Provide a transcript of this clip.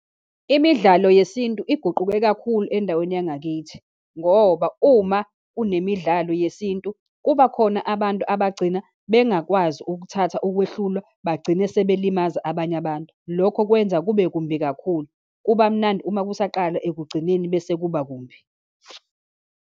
Imidlalo yesintu iguquke kakhulu endaweni yangakithi, ngoba uma unemidlalo yesintu, kuba khona abantu abagcina bengakwazi ukuthatha ukwehlulwa, bagcine sebelimaza abanye abantu, lokho kwenza kube kumbi kakhulu. Kuba mnandi uma kusaqala, ekugcineni bese kuba kumbi.